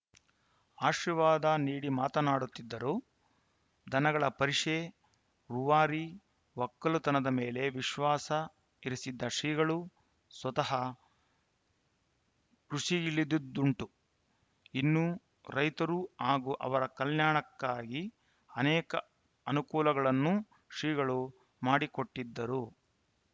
ಆಶೀವಾದ ನೀಡಿ ಮಾತನಾಡುತ್ತಿದ್ದರು ದನಗಳ ಪರಿಷೆ ರೂವಾರಿ ಒಕ್ಕಲುತನದ ಮೇಲೆ ವಿಶ್ವಾಸ ಇರಿಸಿದ್ದ ಶ್ರೀಗಳು ಸ್ವತಃ ಕೃಷಿಗಿಳಿದುದ್ದುಂಟು ಇನ್ನು ರೈತರು ಹಾಗೂ ಅವರ ಕಲ್ಯಾಣಕ್ಕಾಗಿ ಅನೇಕ ಅನುಕೂಲಗಳನ್ನೂ ಶ್ರೀಗಳು ಮಾಡಿಕೊಟ್ಟಿದ್ದರು